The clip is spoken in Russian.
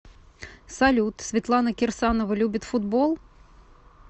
салют светлана кирсанова любит футбол